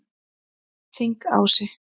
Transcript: Þingási